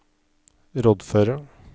rådføre